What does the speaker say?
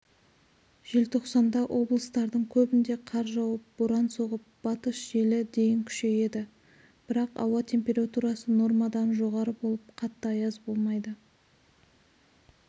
желтоқсанда облыстардың көбінде қар жауып боран соғып батыс желі дейін күшейеді бірақ ауа температурасы нормадан жоғары болып қатты аяз болмайды